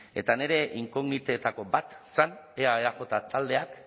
eta nire inkognitetako bat zen ea eaj taldeak